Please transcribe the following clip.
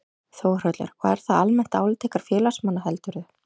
Þórhallur: Og er það almennt álit ykkar félagsmanna heldurðu?